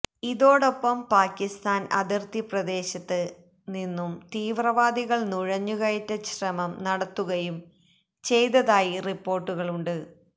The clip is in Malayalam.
ഇതോടൊപ്പം പാകിസ്താന് അതിര്ത്തി പ്രദേശത്ത് നിന്നും തീവ്രവാദികള് നുഴഞ്ഞു കയറ്റ ശ്രമം നടത്തുകയും ചെയ്തതായി റിപ്പോര്ട്ടുകളുണ്ട്